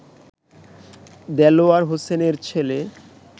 দেলোয়ার হোসেনের ছেলে